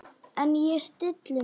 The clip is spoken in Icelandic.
En ég stilli mig.